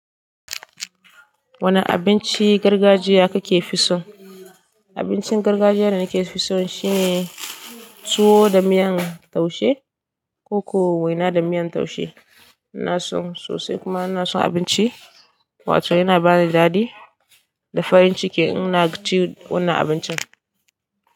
Wane abinci gargajiya kake fi so? Abincin gargajiya da nake fi so shine tuwo da miyan taushe ko-ko waina da miyan taushe. Ina son sosai kuma ina son abinci wato yana bani daɗi da farin ciki in na ci wannan abincin.